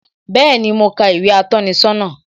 Bẹẹni, mo ka ìwé atọ́ni sọ́nà